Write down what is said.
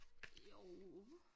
Jo